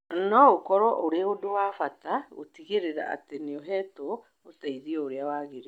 No ũkorũo ũrĩ ũndũ wa bata gũtigĩrĩra atĩ nĩ ũheetwo ũteithio ũrĩa wagĩrĩire